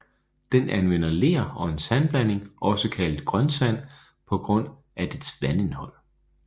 Den anvender ler og en sandblanding også kaldet grønsand på grund af dets vandindhold